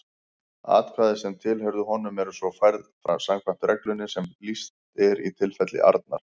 Atkvæði sem tilheyrðu honum eru svo færð samkvæmt reglunni sem lýst er í tilfelli Arnar.